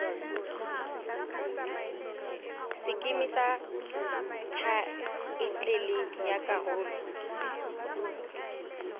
sekeme sa thaetlele ya karolo